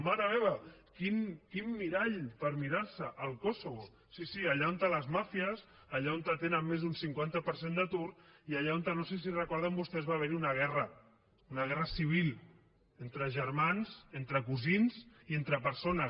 mare meva quin mirall per mirar se el kosovo sí sí allà on les màfies allà on tenen més d’un cinquanta per cent d’atur i allà on no sé si recorden vostès que va haver hi una guerra una guerra civil entre germans entre cosins i entre persones